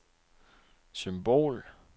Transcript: symbol